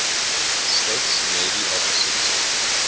states navy officers